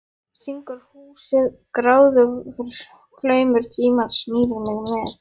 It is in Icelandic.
Syngur húsið og gráðugur flaumur tímans hrífur mig með.